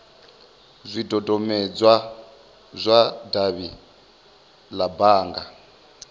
zwidodombedzwa zwa davhi la bannga